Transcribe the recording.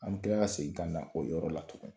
An bɛ kila ka segin ka na o yɔrɔ la tugun.